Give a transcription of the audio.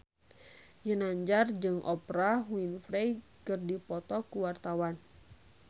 Ginanjar jeung Oprah Winfrey keur dipoto ku wartawan